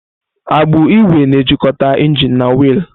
Agbụ ígwè na-ejikọta injin na wiilu.